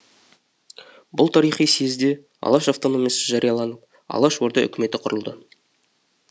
бұл тарихи сиезде алаш автономиясы жарияланып алаш орда үкіметі құрылды